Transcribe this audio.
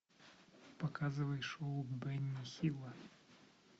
показывай шоу бенни хилла